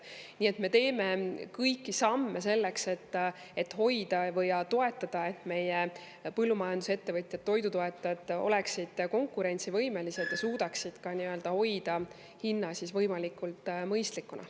Nii et me teeme kõiki samme selleks, et hoida ja toetada meie põllumajandusettevõtjaid ja toidutootjaid, et nad oleksid konkurentsivõimelised ja suudaksid hoida hinna võimalikult mõistlikuna.